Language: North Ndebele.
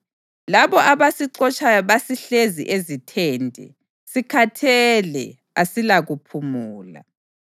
Labo abasixotshayo basihlezi ezithende; sikhathele asilakuphumula.